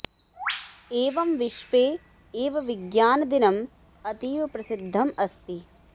एवं विश्वे एव विज्ञान दिनम् अतीव प्रसिद्धम् अस्ति